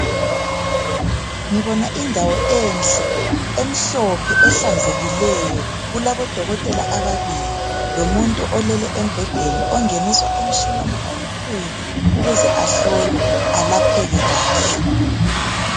Ngibona indawo enhle emhlophe ehlanzekileyo kulabodokotela ababili lomuntu olele embhedeni ongeniswa emtshineni omkhulu ukuze ahlolwe alapheke kahle.